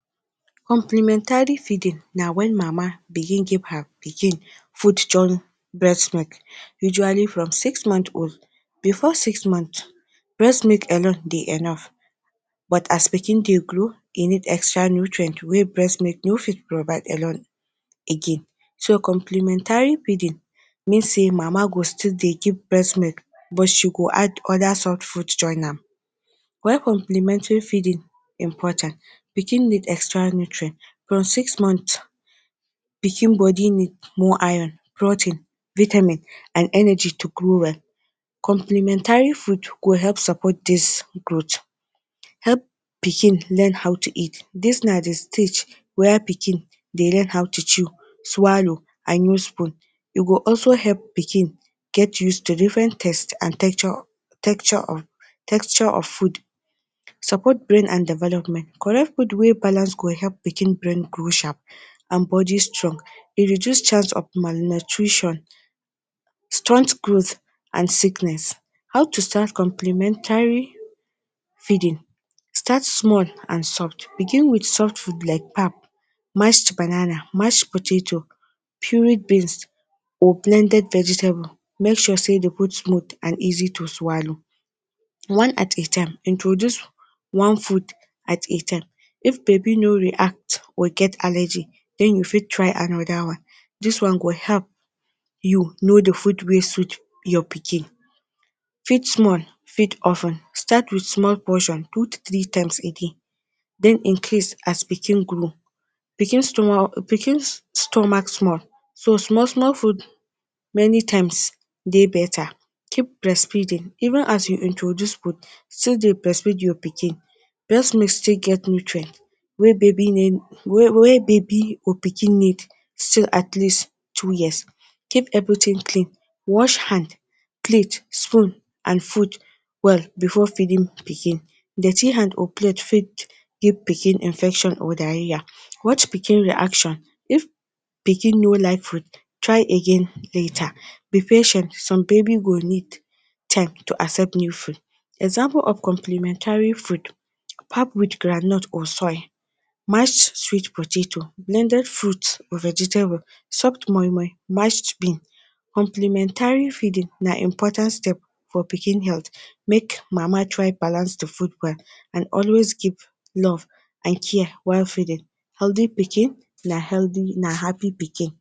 Complimentary feeding na when mama begin her pikin food join breast milk usually from six months old before six month, breast milk alone dey enough but as pikin dey grow e need extra nutrient wey breast milk no fit provide alone again. So complimentary feeding mean sey mama go still dey give breast milk but she go add other soft food join am. Why complimentary feeding important; pikin need extra nutrient from six months, pikin body need more iron, protein, vitamin and energy to grow well. Complimentary food go help support dis growth. Help pikin learn how to eat, dis na dey stage when pikin dey learn how to chew, swallow and use spoon. E go also help pikin get used to different taste and texture, texture of, texture of food. Support brain and development, correct food wey balance well go help pikin brain grow sharp and body strong. E reduce chance of malnutrition, stunt growth and sickness. How to start complimentary feeding; start small and soft begin with soft food like pap, mashed banana, mashed potatoe, chewy beans or blended vegetable, make sure say the food small and easy to swallow. One at a time, introduce one food at a time if baby no react or get allergic then u fit try another one, dis one go help you know the food wey suit your pikin. Feed small feed of ten start with small portion two to three times a day then incase as pikin grow, pikin stomach, pikin stomach small so small small food many times dey better. Keep breastfeeding even as you introduce food still dey breastfeed your pikin, breast milk still get nutrient wey baby wey baby or pikin need so at least two years. keep everything clean, wash hand, plate, spoon and food well before feeding pikin. Dirty hand or plate fit give pikin infection or diarrhoea. Watch pikin reaction, if pikin no like food, try again later, be patient some baby will need time to accept new food. Example of complimentary food; pap with groundnut or soy, mashed sweet potatoe, blended fruit or vegetable, soft moimoi, mashed bean. Complimentary feeding na important step for pikin health make mama try balance the food well and always give love and care while feeding. Healthy pikin na happy pikin.